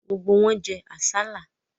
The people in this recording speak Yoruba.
Gbogbo wọn jẹ àsálà.